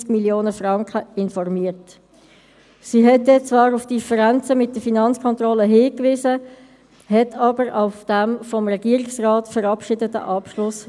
Stellvertretend für die Wahlen möchte ich dem Stadtpräsidenten von Thun recht herzlich zur Wiederwahl gratulieren und ebenfalls den neuen und wiedergewählten Gemeinderäten der Stadt Thun.